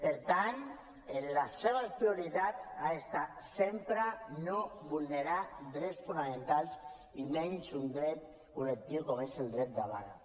per tant en les seves prioritats ha d’estar sempre no vulnerar drets fonamentals i menys un dret col·lectiu com és el dret de vaga